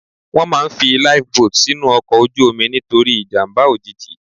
Wọ́n máà ń fi Life boat sínú ọkọ̀ ojú omi nítorí ìjàmbá òjijì.